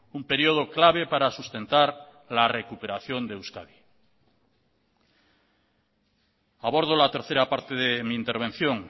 un periodo clave para sustentar la recuperación de euskadi abordo la tercera parte de mi intervención